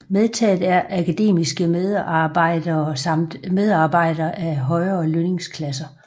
Medtaget er akademiske medarbejdere samt medarbejdere af højere lønningsklasser